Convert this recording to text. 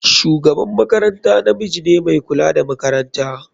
Shugaban makaranta namiji ne mai kula da makaranta.